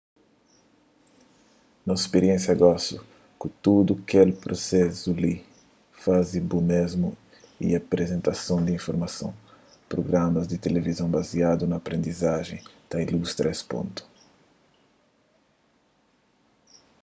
nos spiriénsia gosi ku tudu kel prusesu faze bo mésmu y aprizentason di informason prugramas di tilivizon baziadu na aprendizajen ta ilustra es pontu